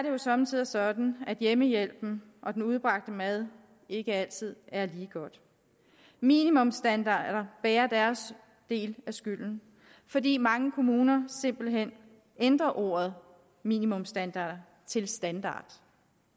jo somme tider sådan at hjemmehjælpen og den udbragte mad ikke altid er lige god minimumsstandarder bærer deres del af skylden fordi mange kommuner simpelt hen ændrer ordet minimumsstandard til standard